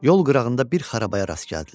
Yol qırağında bir xarabaya rast gəldilər.